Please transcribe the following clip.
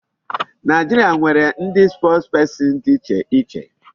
Nigeria nwere ndị spokesperson dị iche iche.